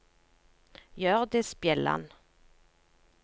Hjørdis Bjelland